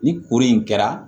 Ni kuru in kɛra